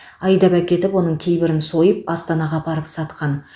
айдап әкетіп оның кейбірін сойып астанаға апарып сатқан